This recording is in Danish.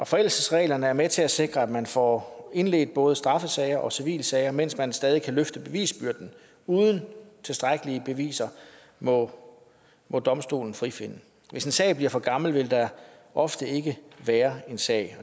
forældelsesreglerne er med til at sikre at man får indledt både straffesager og civile sager mens man stadig kan løfte bevisbyrden uden tilstrækkelige beviser må må domstolene frifinde hvis en sag bliver for gammel vil der ofte ikke være en sag